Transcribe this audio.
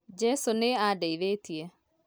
Jesũ nĩ ndeithĩtie